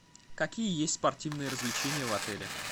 какие есть спортивные развлечения в отеле